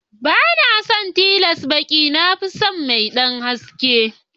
Banason tiles baƙi na fison mai ɗan haske.